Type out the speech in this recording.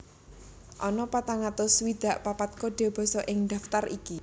Ana patang atus swidak papat kode basa ing daftar iki